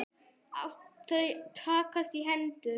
Þau takast í hendur.